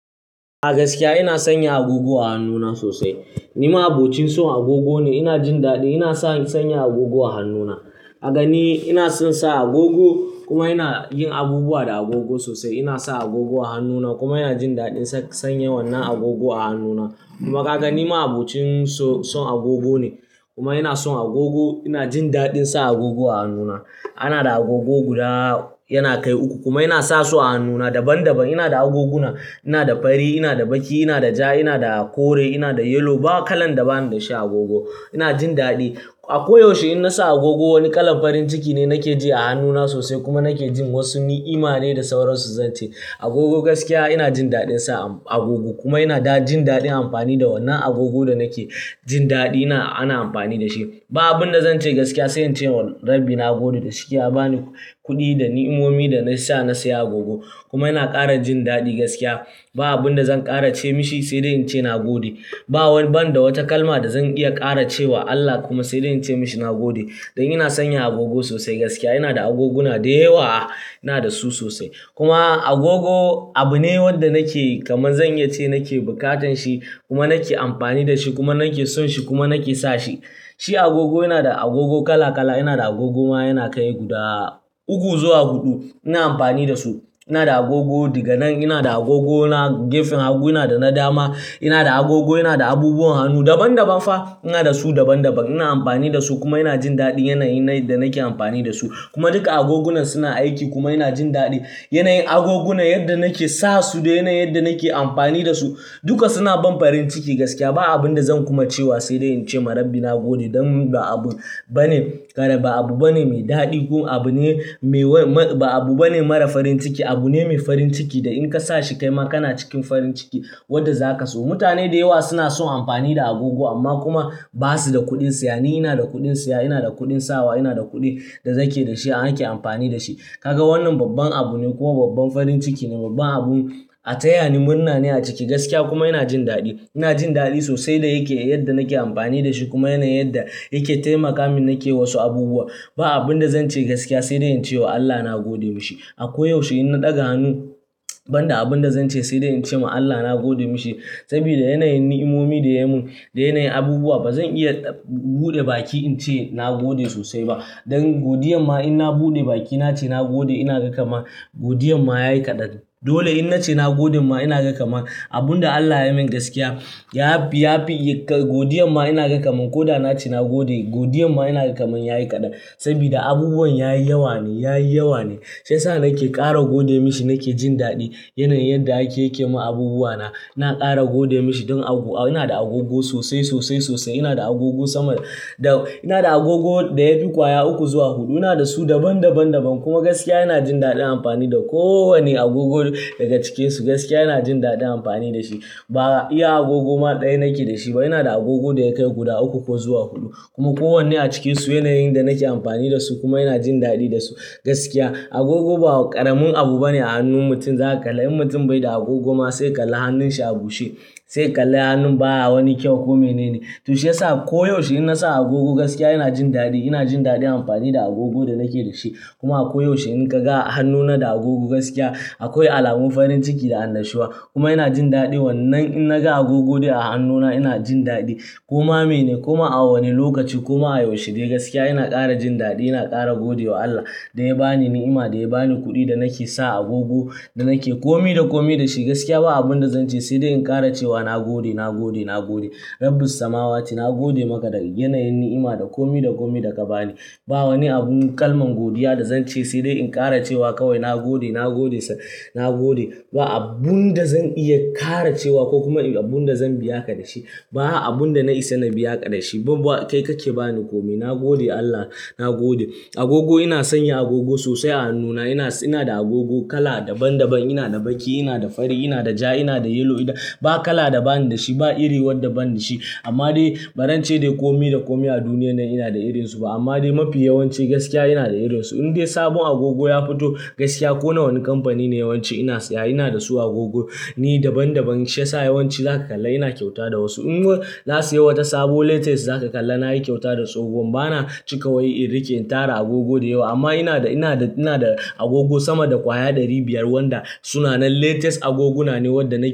A gaskiya ina sanya agogo a hannuna sosai. Ni ma abocin son agogo ne. Ina jindaɗi, inason sanya agogo a hannuna. A gani inason sa agogo kuma ina yin abubuwa da agogo sosai. Ina sa agogo a hannuna kuma ina jindaɗin sanya wannan agogo a hannuna. Kuma Kaga ni ma abocin son agogo ne kuma ina son agogo. Ina jin daɗin sa agogo a hannuna. Anada agogo guda yana kai uku kuma ina sasu a hannuna daban daban. Inada agoguna, inada fari, inada baƙi, inada ja, inada kore, inada yellow. Ba kalan da banida shi agogo. Ina jin daɗi. A koyaushe in nasa agogo, wani kalan farin ciki ne nake ji a hannuna sosai kuma nake jin wasu ni'ima ne da sauransu zance. Agogo gaskiya ina jindaɗin sa agogo kuma ina jindaɗin amfani da wannan agogo da nake jindaɗi ana amfani dashi. Ba abunda zance gaskiya sai ince wa Rabbi nagode da shike yabani kuɗi da ni'omomi da nasa na saya agogo kuma ina ƙara jindaɗi gaskiya. Ba abunda zan ƙara ce mashi sai dai ince nagode. Ba wani banda wata kalma da zan iya ƙara cewa Allah kuma saidai ince mashi nagode. Don ina sanya agogo sosai gaskiya. Inada agoguna da yawa, inada su sosai. Kuma agogo abune wanda nake kamar zan iyace nake bukatan shi kuma nake amfani dashi kuma nake sonshi kuma nake sashi. Shi agogo, inada agogo kala kala, inada agogo ma yana kai guda uku zuwa huɗu. Ina amfani da su. Inada agogo diganan, inada agogo gefen hagu, inada na dama, inada agogo inada abubuwan hannu daban-daban fa. Inada su daban-daban, ina amfani dasu kuma ina jindaɗin yanayin da nake amfani dasu. Kuma duka agogunan suna aiki kuma ina jindaɗin yanayin agogunan yadda nake sasu da yanayin yadda nake amfani dasu. Duka suna ban farin ciki gaskiya. Ba abunda zan kuma cewa sai dai ince ma Rabbi nagode don ba abu bane, ba abu bane mai daɗi ko abu ne mai ba abu bane mara farin ciki. Abune mai farin ciki da in kasashi kaima kana cikin farin ciki wanda za ka so. Mutane da yawa suna son amfani da agogo amma kuma ba su da kuɗin siyane. Ni inada kuɗin siya, inada kuɗin sawa, inada kuɗi da nake dashi har ake amfani dashi. Kaga wannan babban abu ne kuma babban farin ciki ne, babban abun a taya ni murna ne a ciki gaskiya kuma ina ji daɗi. Ina jindaɗi sosai da yake yadda nake amfani dashi kuma yana yadda yake taimakamin nake wasu abubuwa. Ba abunda zance gaskiya sai dai incewa Allah nagode mashi. A koyaushe in na ɗaga hannu, ban da abunda zance sai dai ince ma Allah nagode mashi saboda yanayin ni'omomi da ya mun da yanayin abubuwa. Ba zan iya buɗe baki ince nagode sosai ba. Don godiyar ma in na buɗe baki nace nagode, ina kaman ma godiyar ma yayi kaɗan. Dole in nace nagode ma inaga kaman ma abunda Allah yamin gaskiya yafi, yafi godiyarma ina kaman ma koda nace nagode, godiyar ma ina kaman ma yayi kaɗan saboda abubuwan yayi yawa ne, yayi yawa ne. Shiyasa nake ƙara gode mashi nake jindaɗin yanayin yadda yake yake mun abubuwa na. Ina ƙara gode mashi don inada agogo sosai, sosai, sosai. Inada agogo sama da, ina da agogo da yafi ƙwaya uku zuwa huɗu. Inada su daban, daban, daban kuma gaskiya ina jindaɗin amfani da kowane agogo daga cikinsu. Gaskiya ina jindaɗin amfani dashi. Ba iya agogo ma ɗaya nake da shi ba. Ina da agogo da yakai guda uku ko zuwa huɗu kuma kowanne a cikinsu yanayin da nake amfani da su kuma ina jindaɗi da su gaskiya. Agogo ba ƙaramin abu bane a hannun mutum. Zaka kalla in mutum baida agogo ma sai ka kalla hannun shi a bushe, sai ka kalla hannun baya wani kyau ko menene. To shiyasa koyaushe in nasa agogo gaskiya ina jindaɗi. Ina jin daɗin amfani da agogo da nake dashi. Kuma a koyaushe in kaga hannuna da agogo gaskiya akwai alamun farin ciki da annashiwa kuma ina jindaɗin wannan. In naga agogo dai hannuna ina jindaɗi. Kuma mene, kuma a wane lokaci kuma a yaushe dai gaskiya ina ƙara jindaɗi ina ƙara godewa Allah da ya bani ni'ima, da ya bani kuɗi da nake sa agogo da nake komi da komi dashi gaskiya. Ba abunda zance sai dai in ƙara cewa nagode, nagode, nagode. Rabbis samawati, nagode maka daga yanayin ni'ima da komi da komi da ka bani. Ba wani abun kalman godiya da zance sai dai in ƙara cewa kawai nagode, nagode, nagode. Ba abunda zan iya ƙara cewa ko kuma abunda zan biya ka dashi. Ba abunda na isa na biya ka dashi ba. Kai kake bani komai. Nagode Allah, nagode. Agogo ina sanya agogo sosai a hannuna. Ina, inada agogo kala daban-daban. Inada baƙi, inada fari, inada ja, inada yellow. Ba kala da banida shi, ba iri wadda banda shi. Amma dai barance dai komi da komi a duniyar nan inada irinsu ba amma dai mafi yawanci gaskiya inada irinsu. In dai sabon agogo ya fito gaskiya ko na wani kamfani ne yawanci ina siya, inada su agogo ni daban-daban. Shiyasa yawanci zaka kalla ina kyauta da wasu. In mun na siya wata sabo latest za ka kalla na yi kyauta da tsohon. Ba na cika wai in riƙe in tara agogo da yawa amma inada, inada, inada agogo sama da ƙwaya ɗari biyar wanda suna nan latest agoguna ne wadda na yi.